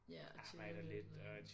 Ja og tjener lidt og